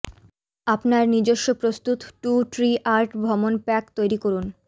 আপনার নিজস্ব প্রস্তুত টু ট্রি আর্ট ভ্রমণ প্যাক তৈরি করুন